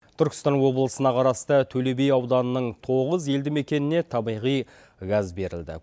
түркістан облысына қарасты төле би ауданының тоғыз елді мекеніне табиғи газ берілді